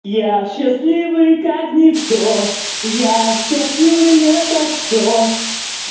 я счастливый как никто я счастливый лет так сто